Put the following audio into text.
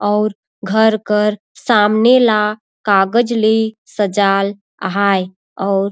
और घर कर सामने ला कागज़ ली सजाल आहाये अउर--